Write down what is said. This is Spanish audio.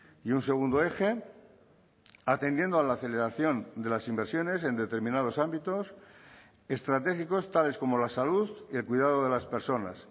y un segundo eje atendiendo a la aceleración de las inversiones en determinados ámbitos estratégicos tales como la salud y el cuidado de las personas